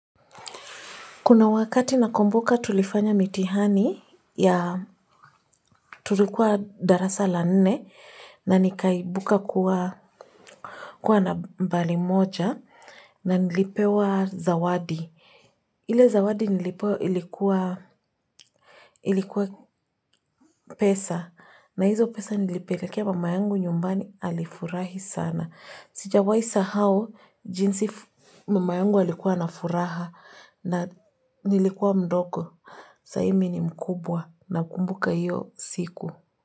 Kuna wakati nakumbuka tulifanya mitihani ya tulikuwa darasa la nne na nikaibuka kuwa nambari moja na nilipewa zawadi. Ile zawadi nilipewa ilikuwa pesa, na hizo pesa nilipelekea mama yangu nyumbani alifurahi sana. Sijawahi sahau, jinsi mama yangu alikuwa na furaha na nilikuwa mdogo, sahi mimi ni mkubwa nakumbuka hiyo siku.